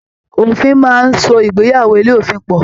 Òfin máa n so ìgbéyàwó ilé òfin pọ.